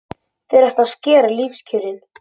Þeir ætla að skerða lífskjörin.